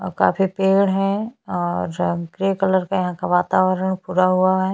और काफी पेड़ है और ग्रे कलर का यहाँ का वातावरण पूरा हुआ है।